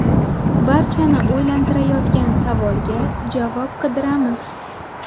Barchani o‘ylantirayotgan savolga javob qidiramiz.